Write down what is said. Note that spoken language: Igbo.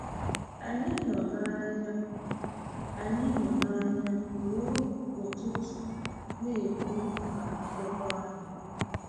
Anyị nọ n’anya Anyị nọ n’anya ruo ụtụtụ na-ekwu maka akwụkwọ ahụ.